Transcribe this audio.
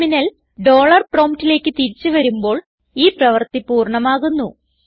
terminal dollar PROMPTലേക്ക് തിരിച്ചു വരുമ്പോൾ ഈ പ്രവൃത്തി പൂർണ്ണമാകുന്നു